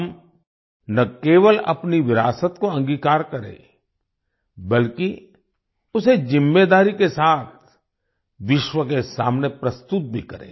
हम न केवल अपनी विरासत को अंगीकार करें बल्कि उसे जिम्मेदारी से साथ विश्व के सामने प्रस्तुत भी करें